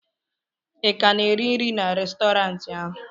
ị ka na-eri nri na Restọrantị ahụ?